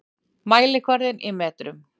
Mælikvarði í metrum.